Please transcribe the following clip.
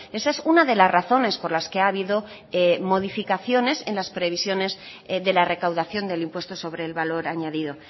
esa es una de las razones por las que ha habido modificaciones en las previsiones de la recaudación del impuesto sobre el valor añadido